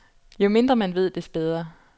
Jo mindre man ved, des bedre.